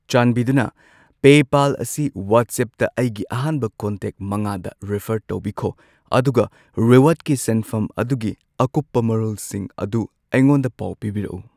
ꯆꯥꯟꯕꯤꯗꯨꯅ ꯄꯦꯄꯥꯜ ꯑꯁꯤ ꯋꯥꯆꯦꯞꯇ ꯑꯩꯒꯤ ꯑꯍꯥꯟꯕ ꯀꯟꯇꯦꯛ ꯃꯉꯥꯗ ꯔꯤꯐꯔ ꯇꯧꯕꯤꯈꯣ ꯑꯗꯨꯒ ꯔꯤꯋꯥꯔꯗꯀꯤ ꯁꯦꯟꯐꯝ ꯑꯗꯨꯒꯤ ꯑꯀꯨꯞꯄ ꯃꯥꯔꯣꯜꯁꯤꯡ ꯑꯗꯨ ꯑꯩꯉꯣꯟꯗ ꯄꯥꯎ ꯄꯤꯕꯤꯔꯛꯎ꯫